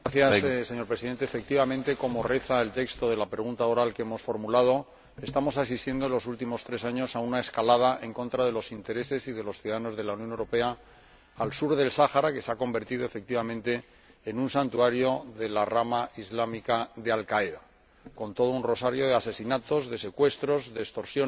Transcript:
Señor Presidente, efectivamente, como reza el texto de la pregunta oral que hemos formulado, estamos asistiendo en los últimos tres años a una escalada en contra de los intereses y de los ciudadanos de la Unión Europea al sur del Sáhara, que se ha convertido en un santuario de la rama islámica de Al Qaeda, con todo un rosario de asesinatos, de secuestros, de extorsiones,